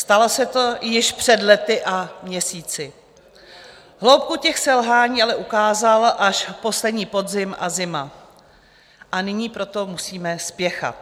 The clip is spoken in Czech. Stalo se to již před lety a měsíci, hloubku těch selhání ale ukázal až poslední podzim a zima, a nyní proto musíme spěchat.